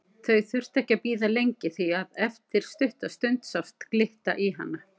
Þau þurftu ekki að bíða lengi því að eftir stutta stund sást glitta í hana.